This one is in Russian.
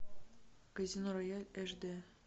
казино рояль эш д